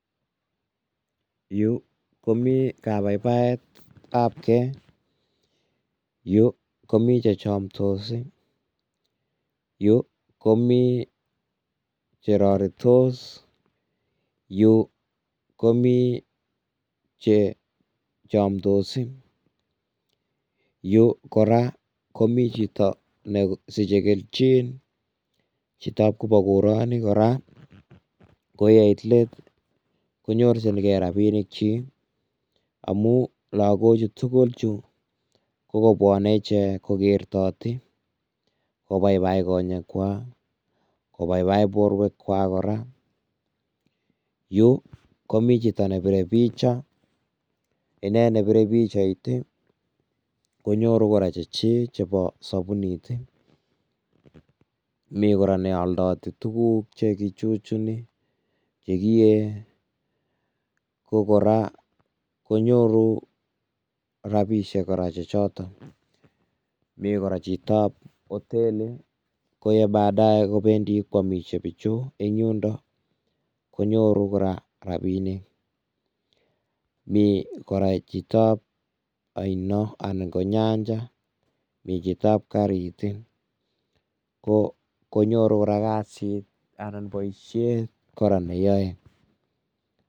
Yuu komi kabaibaet ab ke, yuu komi chechomtos ii, yuu komi cheroritos, yuu komi che chomdos ii, yuu kora komi chito nesiche kelchin, chitab koba koroni, kora ko yeit lett konyorchinke rapinik chiik amun logok chutugul kokobwone icheket kokertoti, kobaibai kochekwak, kobaibai borwekwak kora, yuu komi chito nebire picha, inei nebire picha konyoru kora chechiik chebo sobunit, mi kora neoldoti tuguk chegichuchuni, chegiye, ko kora konyoru rapisiek kora chotok, mi kora chitab hotelit . Ko en badae kobendi kwamisie Pichu eng' yundo konyoru kora rapinik mi, kora chitab oino anan ko nyanjet , michitab karit ii, konyoru kora boisiet kora neyoe.